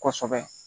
Kosɛbɛ